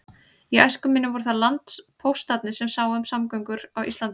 Í æsku minni voru það landpóstarnir sem sáu um samgöngur á landi.